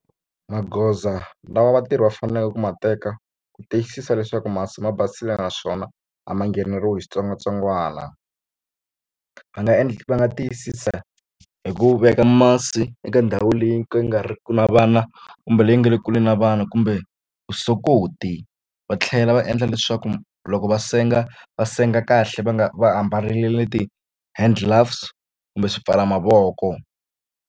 Magoza lawa vatirhi va faneleke ku ma teka ku tiyisisa leswaku masi ma basile naswona a ma ngheneriwi hi switsongwatsongwana va nga va nga tiyisisa hi ku veka masi eka ndhawu leyi ndzi nga riki na vana kumbe leyi nga le kule na vana kumbe vusokoti va tlhela va endla leswaku loko va senga va senga kahle va nga va ambarile ti-hand gloves kumbe swipfala mavoko.